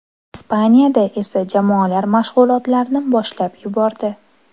Ispaniyada esa jamoalar mashg‘ulotlarni boshlab yubordi.